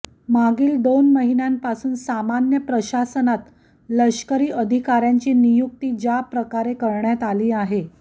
मागील दोन महिन्यांपासून सामान्य प्रशासनात लष्करी अधिकाऱ्यांची नियुक्ती ज्या प्रकारे करण्यात आली आहे